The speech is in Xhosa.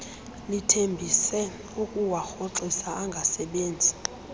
lithembise ukuwarhoxisa angasebenzi